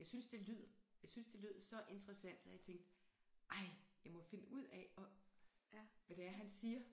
Jeg synes det lyd jeg synes det lød så interessant så jeg tænkte ej jeg må finde ud af og hvad det er han siger